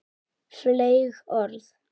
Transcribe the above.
Fleyg orð.